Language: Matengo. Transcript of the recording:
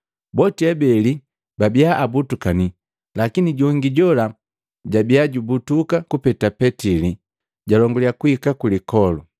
Boti abeli babia abutukani lakini jongi jola jabia jubutuka kupeta Petili, jalonguliya kuhika ku lipole.